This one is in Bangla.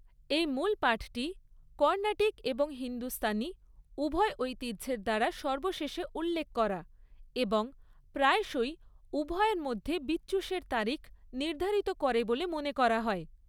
এই মূলপাঠটি কর্ণাটিক এবং হিন্দুস্তানি উভয় ঐতিহ্যের দ্বারা সর্বশেষে উল্লেখ করা এবং প্রায়শই উভয়ের মধ্যে বিচ্যুশের তারিখ নির্ধারিত করে বলে মনে করা হয়।